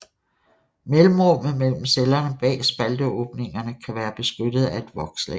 Mellemrummet mellem cellerne bag spalteåbningerne kan være beskyttet af et vokslag